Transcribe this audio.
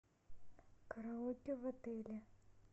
караоке в отеле